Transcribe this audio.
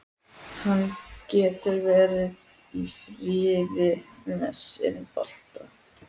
Hann getur verið í friði með sinn bolta.